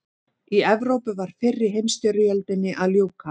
Í Evrópu var fyrri heimsstyrjöldinni að ljúka.